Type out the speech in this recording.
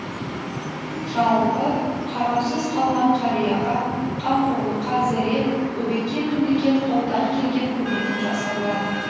жалпы қараусыз қалған қарияға қамқорлыққа зәре бөбекке мемлекет қолдан келген көмегін жасауда